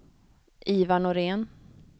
Ivar Norén